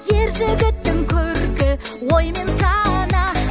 ержігіттің көркі ой мен сана